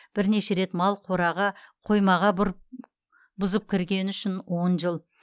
бірнеше рет мал қораға қоймаға бұзып кіргені үшін он жыл